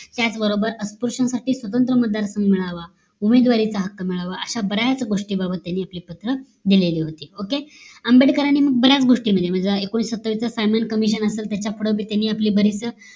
त्याच बरोबर अस्पृश्यांसाठी स्वतंत्र मतदार संघ मिळावा आणि उमेदवारीचा हक्क मिळावा अश्या बऱ्याच गोष्टी बाबत त्यांनी आपली पत्र लिहिलेली होती okay आंबेडकरांनी मग बऱ्याच गोष्टीमध्ये म्हणजे एकोणीशे सत्तावीस चा सायमन COMISSION असाल त्याच्या पूढ बी त्यांनी आपली बरीच